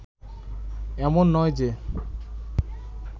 এমন নয় যে